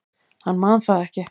Hann man það ekki.